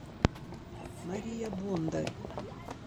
мария бондарь